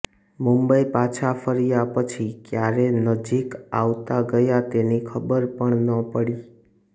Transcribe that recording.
મુંબઈ પાછા ફર્યા પછી કયારે નજીક આવતાં ગયાં તેની ખબર પણ ન પડી